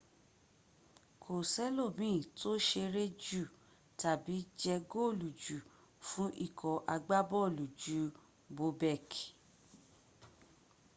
kó sẹ́lòmín tó ṣeré jù tàbí jẹ góòlù jù fún ikọ̀ agbábọ̣̀ọ̀lù ju bobek